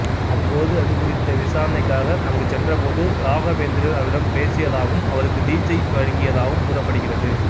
அப்போது அது குறித்த விசாரணைக்காக அங்கு சென்ற போது ராகவேந்திரர் அவரிடம் பேசியதாகவும் அவருக்கு தீட்சை வழங்கியதாகவும் கூறப்படுகிறது